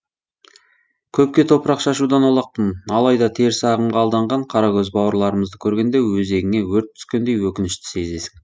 көпке топырақ шашудан аулақпын алайда теріс ағымға алданған қаракөз бауырларымызды көргенде өзегіңе өрт түскендей өкінішті сезесің